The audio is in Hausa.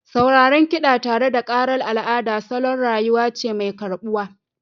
Sauraron kiɗa tare da ƙarar al'ada salon rayuwa ce mai karɓuwa